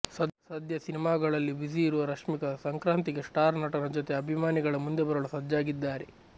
ಸದ್ಯ ಸಿನಿಮಾಗಳಲ್ಲಿ ಬ್ಯುಸಿ ಇರುವ ರಶ್ಮಿಕಾ ಸಂಕ್ರಾತಿಗೆ ಸ್ಟಾರ್ ನಟನ ಜೊತೆ ಅಭಿಮಾನಿಗಳ ಮುಂದೆ ಬರಲು ಸಜ್ಜಾಗಿದ್ದಾರೆ